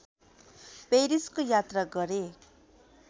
पेरिसको यात्रा गरे